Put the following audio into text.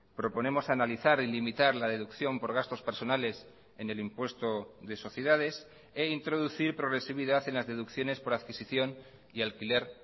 proponemos analizar y limitar la deducción por gastos personales en el impuesto de sociedades e introducir progresividad en las deducciones por adquisición y alquiler